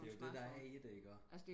det er jo det der er i det ikke også